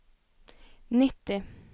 nitti